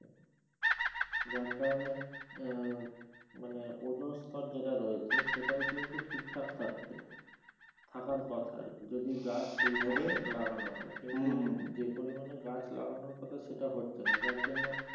যার কারনে আহ মানে ওজোন স্তর যেটা রয়েছে সেটাও কিন্তু ঠিকঠাক থাকছে। থাকার কথা আর কি যদি গাছ সেই ভাবে লাগানো হয় কিন্তু যে পরিমাণে গাছ লাগানোর কথা সেটা হচ্ছে না যার জন্য,